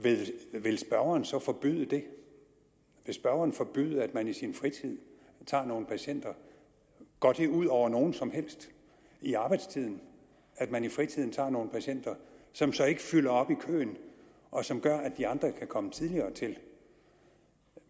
vil spørgeren så forbyde det vil spørgeren forbyde at man i sin fritid tager nogle patienter går det ud over nogen som helst i arbejdstiden at man i fritiden tager nogle patienter som så ikke fylder op i køen og som gør at de andre kan komme tidligere til